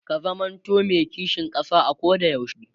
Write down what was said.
ka zamanto me kishin ƙasa a Koda yaushe